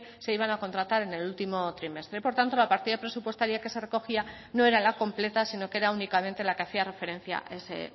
se iban a contratar en el último trimestre por tanto la partida presupuestaria que se recogía no era la completa sino que era únicamente la que hacía referencia a ese